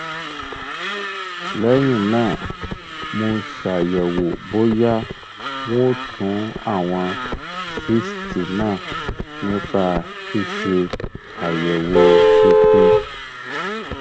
lẹyìn náà mo ṣàyẹwò bóyá wọn tú àwọn cysts náà nípa ṣíṣe àyẹwò ikùn